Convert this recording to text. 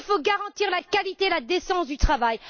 Il faut garantir la qualité et la décence du travail.